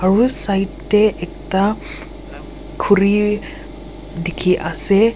ro side tey ekta khuri dikhi ase.